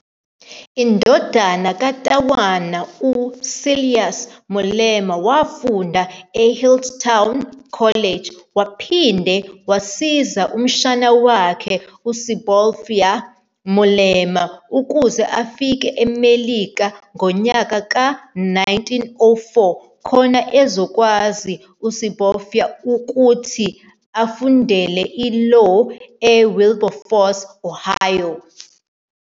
Indodana ya-Tawana, uSilas Molema wafunda e-Healdtown College, waphinda wasiza umshana wakhe uSebopioa Molema ukuze afike eMelika ngonyaka ka-1904 khona ezokwazi uSebopioa ukuthi afundele i-Law eWilberforce, Ohio.